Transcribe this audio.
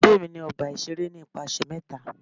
Pade mi ni ọgba iṣere aṣa nipasẹ mẹta!